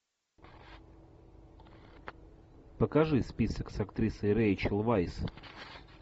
покажи список с актрисой рэйчел вайс